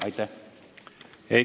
Aitäh!